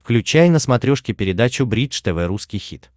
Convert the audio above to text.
включай на смотрешке передачу бридж тв русский хит